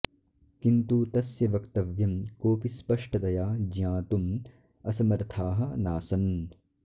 किन्तु तस्य वक्तव्यं कोऽपि स्पष्टतया ज्ञातुम् असमर्थाः नासन्